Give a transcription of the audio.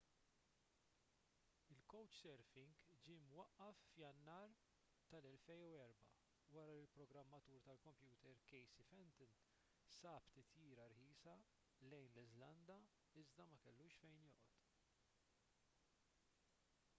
il-couchsurfing ġie mwaqqaf f'jannar 2004 wara li l-programmatur tal-kompjuter casey fenton sab titjira rħisa lejn l-iżlanda iżda ma kellux fejn joqgħod